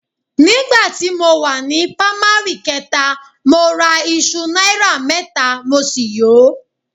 Nígbà tí mo wà ní pámárì kẹta, mo ra iṣu náírà mẹ́ta mo sì yò ó